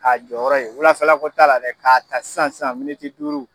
K'a jɔyɔrɔ ye, wulafɛla ko t'a la dɛ, k'a ta san san miniti duuru